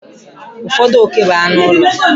Ụfọdụ oke bụ anụ ụlọ.